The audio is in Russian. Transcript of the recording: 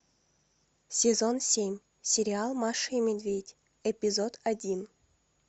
сезон семь сериал маша и медведь эпизод один